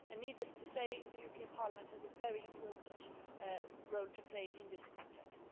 Needless to say, the European Parliament has a very important role to play in this context.